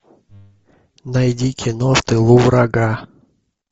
найди кино в тылу врага